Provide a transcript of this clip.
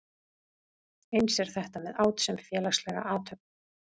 Eins er þetta með át sem félagslega athöfn.